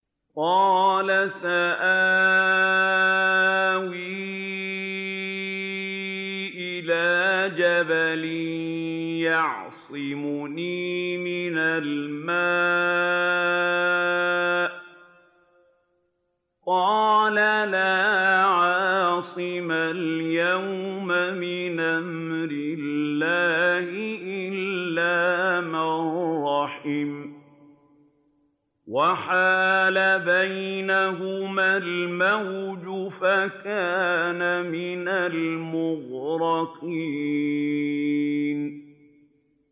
قَالَ سَآوِي إِلَىٰ جَبَلٍ يَعْصِمُنِي مِنَ الْمَاءِ ۚ قَالَ لَا عَاصِمَ الْيَوْمَ مِنْ أَمْرِ اللَّهِ إِلَّا مَن رَّحِمَ ۚ وَحَالَ بَيْنَهُمَا الْمَوْجُ فَكَانَ مِنَ الْمُغْرَقِينَ